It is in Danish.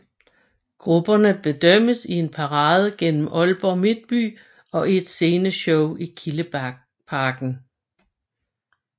Grupperne bedømmes i en parade gennem Aalborg Midtby og i et sceneshow i Kildeparken